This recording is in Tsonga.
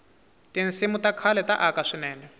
tinsimu ta khale ta aka swinene